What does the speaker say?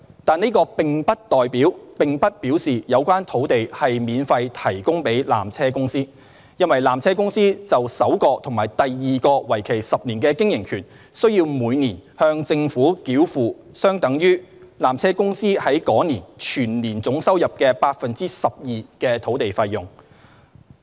但是，這並不表示有關土地是免費提供予纜車公司，因為纜車公司就首個及第二個為期10年的經營權，須每年向政府繳付相等於纜車公司在該年總收入 12% 的土地費用。